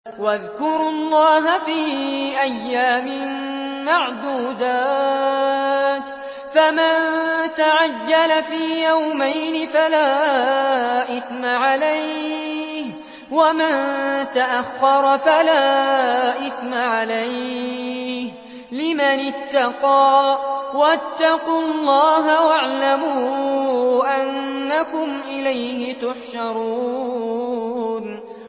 ۞ وَاذْكُرُوا اللَّهَ فِي أَيَّامٍ مَّعْدُودَاتٍ ۚ فَمَن تَعَجَّلَ فِي يَوْمَيْنِ فَلَا إِثْمَ عَلَيْهِ وَمَن تَأَخَّرَ فَلَا إِثْمَ عَلَيْهِ ۚ لِمَنِ اتَّقَىٰ ۗ وَاتَّقُوا اللَّهَ وَاعْلَمُوا أَنَّكُمْ إِلَيْهِ تُحْشَرُونَ